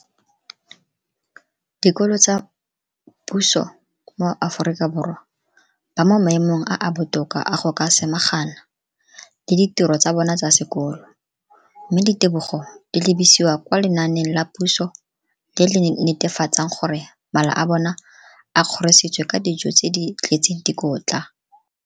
Dikolo tsa puso mo Aforika Borwa ba mo maemong a a botoka a go ka samagana le ditiro tsa bona tsa sekolo, mme ditebogo di lebisiwa kwa lenaaneng la puso le le netefatsang gore mala a bona a kgorisitswe ka dijo tse di tletseng dikotla.